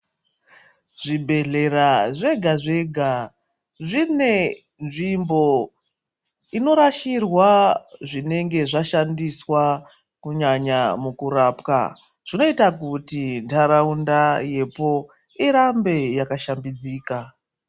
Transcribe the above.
Zvibhedhlera zvega zvega zvine nzvimbo inorashirwa zvinenge zvashandiswa kunyanya mukurapwa zvinoita kuti ntharaunda yepo irambe yakashambidzika.